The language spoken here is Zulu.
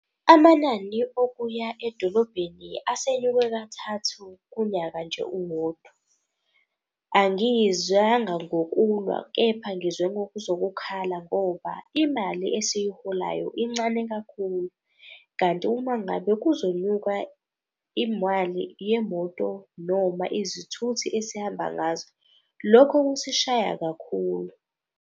Amanani okuya edolobheni asenyuke kathathu kunyaka nje uwodwa. Angizanga ngokulwa, kepha ngize ngokuzokhala ngoba imali esiyiholayo incane kakhulu. Kanti uma ngabe kuzonyuka imali yemoto noma izithuthi esihamba ngazo, lokho kusishaya kakhulu.